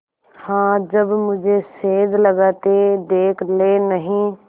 हाँ जब मुझे सेंध लगाते देख लेनहीं